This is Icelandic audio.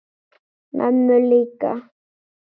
Mömmu líka?